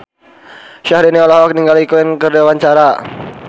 Syaharani olohok ningali Queen keur diwawancara